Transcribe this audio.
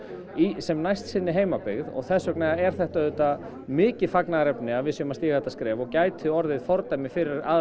sem næst sinni heimabyggð og þess vegna er þetta auðvitað mikið fagnaðarefni að við séum að stíga þetta skref og gæti orðið fordæmi fyrir aðra